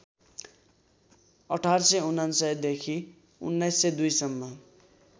१८९९ देखि १९०२ सम्म